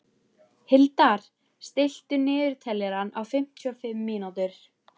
Hildar, stilltu niðurteljara á fimmtíu og fimm mínútur.